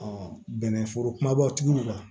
bɛnɛ foro kumabaw tigila